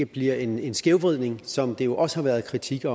bliver en en skævvridning som der jo også har været kritik af